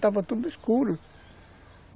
Estava tudo escuro.